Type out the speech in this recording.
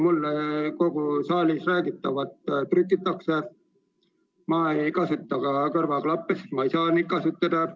Mulle kõike saalis räägitavat trükitakse, ma ei kasuta kõrvaklappe, sest ma ei saa neid kasutada.